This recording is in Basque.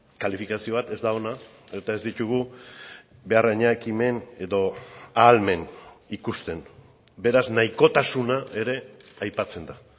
kalifikazio bat ez da ona eta ez ditugu behar haina ekimen edo ahalmen ikusten beraz nahikotasuna ere aipatzen da